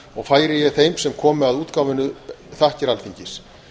sagnaarf færi ég þeim sem komu að útgáfunni þakkir alþingis